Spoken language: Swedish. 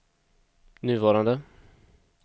nuvarande